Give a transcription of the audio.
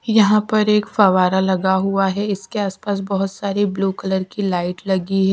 यहां पर एक फवारा लगा हुआ है इसके आसपास बहुत सारी ब्लू कलर की लाइट लगी।